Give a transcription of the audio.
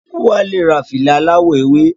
Wala Ra fìlà aláwọ̀ ewé